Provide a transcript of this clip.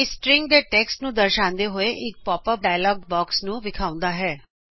ਇਹ ਸਟ੍ਰਿੰਗ ਤੋਂ ਟੈਕਸਟ ਮਿਲਾਉਂਦੇ ਹੋਏ ਇਕ ਪੋਪ ਅਪ ਡਾਅਲਾਗ ਬਾਕਸ ਵਿਖਾਉਂਦਾ ਹੈਂ